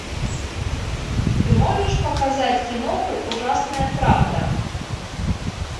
ты можешь показать киноху ужасная правда